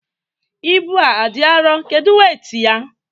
Ibu a adị arọ, kedu weit ya?